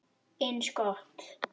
Hrekkur við og lítur upp.